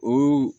O